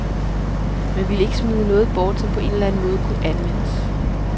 Man ville ikke smide noget bort, som på en eller anden måde kunne anvendes.